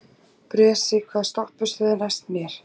Bresi, hvaða stoppistöð er næst mér?